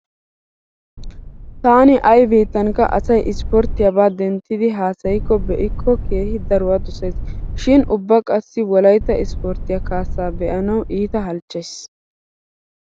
Taani ay biittankka asay ispporttiyaba denttidi haasayikkonne be'ikko keehi daruwa dosays. Shin ubba qassi wolaytta ispporttiya kaassa be'anawu iita halchchays.